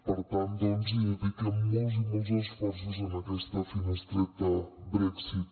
per tant doncs dediquem molts i molts esforços en aquesta finestreta brexit